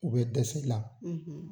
U bɛ dɛsɛ i la.